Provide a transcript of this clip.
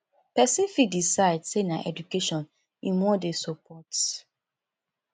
persin fit decide say na education im won de support